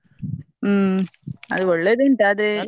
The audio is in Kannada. ಹ್ಮ್‌ ಅದ್ ಒಳ್ಳೆದುಂಟು ಆದ್ರೆ.